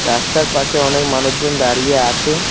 রাস্তার পাশে অনেক মানুষজন দাঁড়িয়ে আছে।